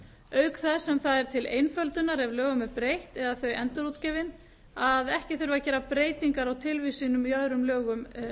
auk þess sem það er til einföldunar ef lögum er breytt eða þau endurútgefin að ekki þurfi að gera breytingar á tilvísunum í öðrum lögum